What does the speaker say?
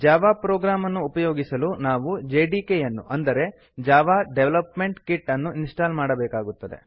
Java program ಅನ್ನು ಉಪಯೋಗಿಸಲು ನಾವು ಜೆಡಿಕೆ ಯನ್ನು ಅಂದರೆ ಜಾವಾ ಡೆವಲಪ್ಮೆಂಟ್ ಕಿಟ್ ಅನ್ನು ಇನ್ಸ್ಟಾಲ್ ಮಾಡಬೇಕಾಗುತ್ತದೆ